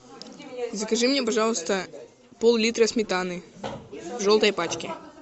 закажи мне пожалуйста пол литра сметаны в желтой пачке